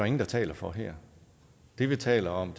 ingen der taler for her det vi taler om